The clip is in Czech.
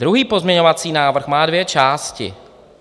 Druhý pozměňovací návrh má dvě části.